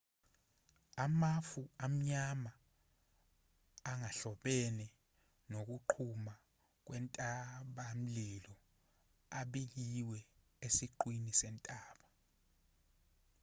amafu amnyama angahlobene nokuqhuma kwentabamlilo abikiwe esiqwini sentaba